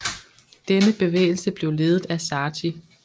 Denne bevægelse blev ledet af Sarti